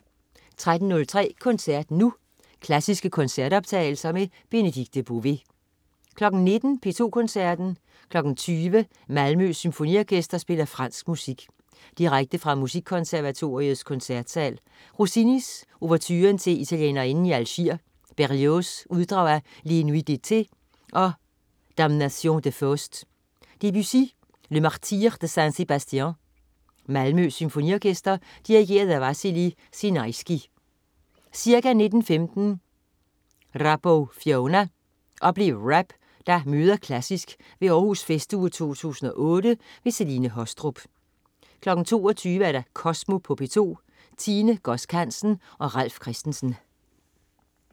13.03 Koncert Nu. Klassiske koncertoptagelser. Benedikte Bové 19.00 P2 Koncerten. 20.00 Malmø Symfoniorkester spiller fransk musik. Direkte fra Musikkonservatoriets Koncertsal. Rossini: Ouverturen til Italienerinden i Algier. Berlioz: Uddrag af Les Nuits d'Eté og Damnation de Faust. Debussy: Le Martyre de Saint Sébastian. Malmø SymfoniOrkester. Dirigent: Vassily Sinaisky. Ca. 19.15 Rap-O-Fonia. Oplev rap, der møder klassisk ved Århus Festuge 2008. Celine Haastrup 22.00 Kosmo på P2. Tine Godsk Hansen og Ralf Christensen